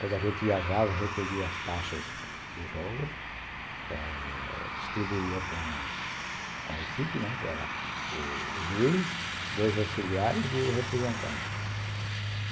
Quando a gente viajava, recolhia as taxas do jogo eh distribuía com a equipe, né, que era o juiz, dois auxiliares e o representante.